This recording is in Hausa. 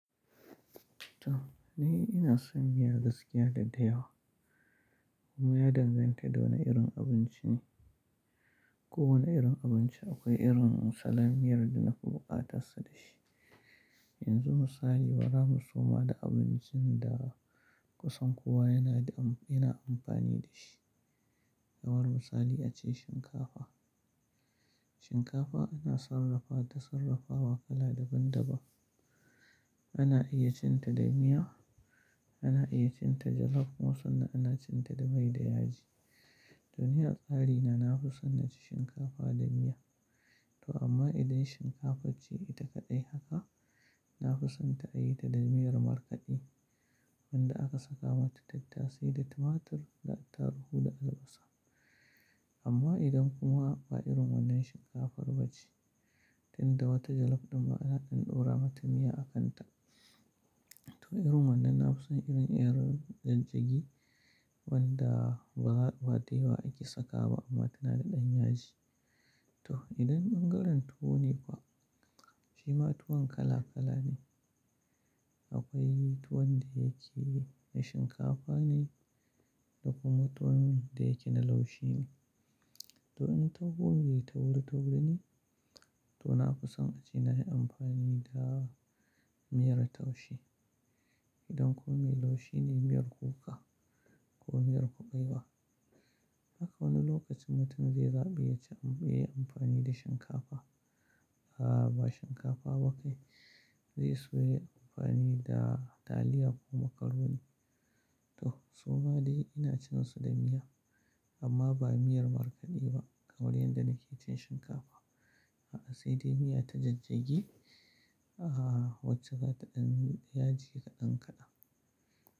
To ni ina son miya gaskiya da dayawa. Kuma ya danganta da wane irin abinci ne. Ko wane irin abinci akwai irin salom miyar da na fi bukatarsa da shi. Yanzu misali bara mu soma da abincin da kusan kowa yana, yana amfani da shi. Yawan misali ace shinkafa. Shinkafa ana sarrafa ta, sarrafa wa kala daban daban. Ana iya cin ta da miya, ana iya cin ta jalaf kuma sannan ana cin ta da mai da yaji. To ni a tsari na, na fi son na ci shinkafa da miya. To amma idan shinkafan ce ita kaɗai haka, na fi son ta a yi ta da miyar markaɗe wanda aka saka mata tattasai da tumatur, da attaruhu da albasa. Amma idan kuma ba irin wannan shinkafar ba ce, tin da wata jalaf ɗin ma ana ɗora mata miya a kanta. To irin wannan na fi son irin irin jijjigi wanda ba wate wa ake saka ba amma tana da ɗan yaji. To idan ɓangaren tuwo ne kuwa, shi ma tuwon kala kala ne. Akwai tuwon da yake na shinkafa ne da kuma tuwon da yake na laushi ne. To in tuwo mak tauri tauri ne, to na fi son a ce na yi amfani da miyar taushe. Idan kuma mai laushi ne, miyar kuka ko miyar kuɓewa. Haka wani lokacin mutum zai zaɓi ya ci, ya yi amfani da shinkafa. A'a, ba shinkafa ba kai. Zai so ya yi amfani da taliya ko macaroni. To suma dai ina cin su da miya amma ba miyar markaɗe ba kamar yadda nake cin shinkafa. A'a, sai dai miya ta jijjagi. A'a, wacce za ta ɗan yaji kaɗan kaɗan.